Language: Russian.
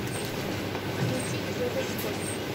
включи трэвис скотт